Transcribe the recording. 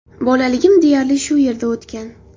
Bolaligim deyarli shu yerda o‘tgan.